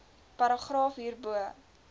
paragraaf hierbo